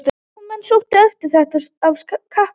Heimamenn sóttu eftir þetta af kappi.